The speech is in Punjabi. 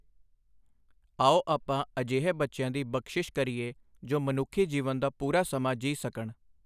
ਆਓ ਆਪਾਂ ਅਜਿਹੇ ਬੱਚਿਆਂ ਦੀ ਬਖਸ਼ਿਸ਼ ਕਰੀਏ ਜੋ ਮਨੁੱਖੀ ਜੀਵਨ ਦਾ ਪੂਰਾ ਸਮਾਂ ਜੀ ਸਕਣ!